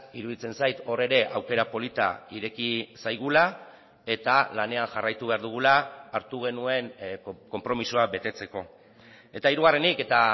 iruditzen zait hor ere aukera polita ireki zaigula eta lanean jarraitu behar dugula hartu genuen konpromisoa betetzeko eta hirugarrenik eta